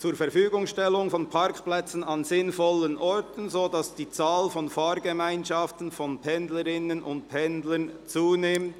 «Zurverfügungstellung von Parkplätzen an sinnvollen Orten, so dass die Zahl von Fahrgemeinschaften von Pendlerinnen und Pendlern zunimmt».